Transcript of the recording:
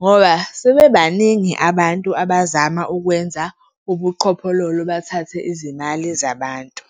ngoba sebebaningi abantu abazama ukwenza ubuqhophololo bathathe izimali zabantu.